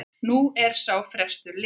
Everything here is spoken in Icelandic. Nú er sá frestur liðinn.